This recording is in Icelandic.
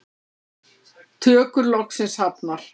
Tökur loksins hafnar